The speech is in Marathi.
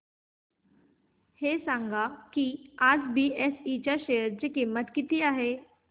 हे सांगा की आज बीएसई च्या शेअर ची किंमत किती आहे